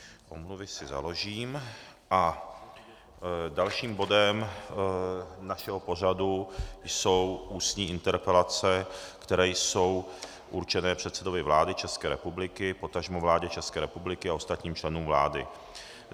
Omluvy si založím a dalším bodem našeho pořadu jsou ústní interpelace, které jsou určené předsedovi vlády České republiky, potažmo vládě České republiky a ostatním členům vlády.